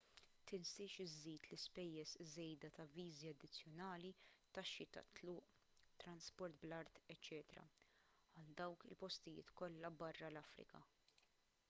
tinsiex iżżid l-ispejjeż żejda ta' viżi addizzjonali taxxi tat-tluq trasport bl-art eċċ għal dawk il-postijiet kollha barra l-afrika